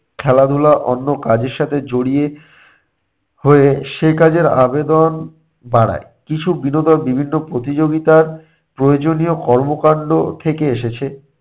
খেলাধুলা অন্য কাজের সাথে জড়িয়ে হয়ে সে কাজের আবেদন বাড়ায়। কিছু বিনোদন বিভিন্ন প্রতিযোগিতার প্রয়োজনীয় কর্মকাণ্ড থেকে এসেছে